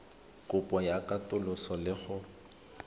kopo ya katoloso le go